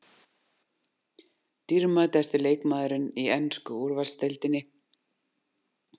Dýrmætasti leikmaðurinn í ensku úrvalsdeildinni?